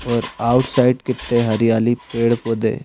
और आउटसाइड कित्ते हरियाली पेड़-पौधे--